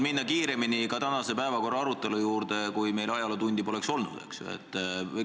Kindlasti oleks tänase päevakorra arutelu juurde saanud minna kiiremini ka siis, kui meil ajalootundi poleks olnud.